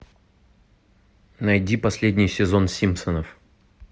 найди последний сезон симпсонов